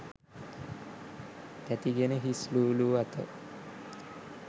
තැති ගෙන හිස් ලූ ලූ අත